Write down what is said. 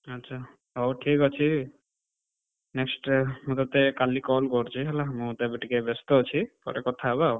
ଆଚ୍ଛା, ହଉ ଠିକ୍ ଅଛି, next ମୁଁ ତତେ କାଲି call କରୁଚି ହେଲା, ମୁଁ ତ ଏବେ ଟିକେ ବେସ୍ତ ଅଛି ପରେ କଥା ହବା ଆଉ।